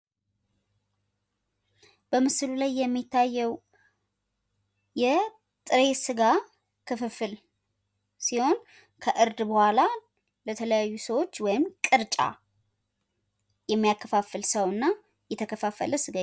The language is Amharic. በምስሉ ላይ የሚታየው የጥሬ ስጋ ክፍፍል ሲሆን ከእርድ በኋላ ለተለያዩ ሰዎች ወይም ቅርጫ የሚያከፋፍል ሰውና የተከፋፈለ ስጋ